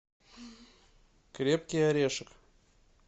крепкий орешек